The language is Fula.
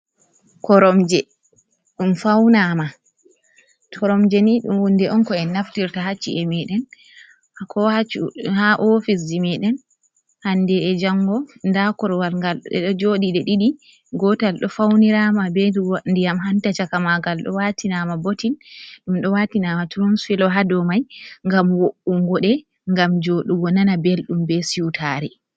Koromje, ɗum fawnaama, Koromje ni huunde on ko en naftirta haa ci'e meeɗen haa oofisji meeɗen hannde e janngo, ndaa korowal ngal ɗe ɗo jooɗi ɗe ɗiɗi, gootal ɗo fawniraama bee ndiyam hanta caka maagal ɗo waatinaama botin ɗum ɗo waatinaama Turuu-filo haa dow mai ngam wo''unngo ɗe ngam jooɗugo nana belɗum bee siwtaare.